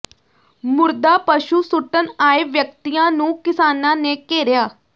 ਮੁਰਦਾ ਪਸ਼ੂ ਸੁੱਟਣ ਆਏ ਵਿਅਕਤੀਆਂ ਨੂੰ ਕਿਸਾਨਾਂ ਨੇ ਘੇਰਿਆ